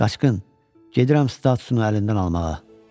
Qaçqın, gedirəm statusunu əlindən almağa.